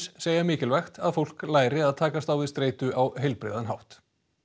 segja mikilvægt að fólk læri að takast á við streitu á heilbrigðan hátt